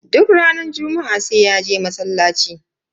Duk ranar juma'a sai ya je masallaci.